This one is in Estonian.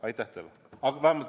Aitäh teile!